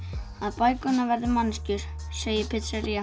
bækurnar verða manneskjur segir